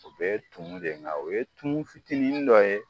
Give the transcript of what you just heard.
U bɛɛɛ ye tumu de nga o ye tumu fitinin dɔ ye